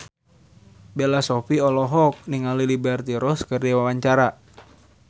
Bella Shofie olohok ningali Liberty Ross keur diwawancara